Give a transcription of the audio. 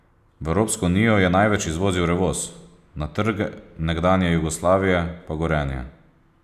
V Evropsko unijo je največ izvozil Revoz, na trge nekdanje Jugoslavije pa Gorenje.